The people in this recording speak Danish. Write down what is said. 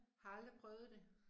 Har aldrig prøvet det